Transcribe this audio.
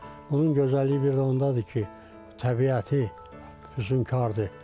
Bunun gözəlliyi bir də ondadır ki, təbiəti hüznkardır.